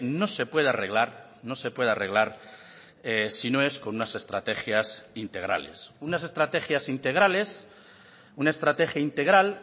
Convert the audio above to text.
no se puede arreglar no se puede arreglar si no es con unas estrategias integrales unas estrategias integrales una estrategia integral